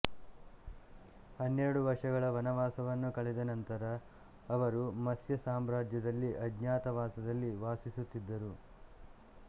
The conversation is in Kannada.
ಹನ್ನೆರಡು ವರ್ಷಗಳ ವನವಾಸವನ್ನು ಕಳೆದ ನಂತರ ಅವರು ಮತ್ಸ್ಯ ಸಾಮ್ರಾಜ್ಯದಲ್ಲಿ ಅಜ್ಞಾತ ವಾಸದಲ್ಲಿ ವಾಸಿಸುತ್ತಿದ್ದರು